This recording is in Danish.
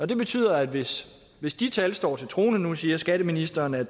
det betyder at hvis hvis de tal står til troende nu siger skatteministeren at